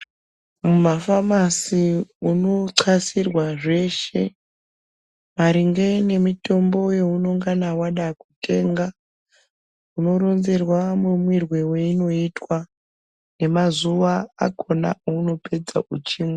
Mumafamasi unoxasirwa zveshe maringe nemitombo yeunongana wada kutenga. Unoronzerwa mumwirwe weinoitwa nemazuwa akona aunopedza uchimwa.